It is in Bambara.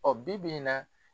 Ɔ bi bi in na